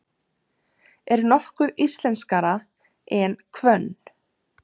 Er nokkuð íslenskara en hvönn?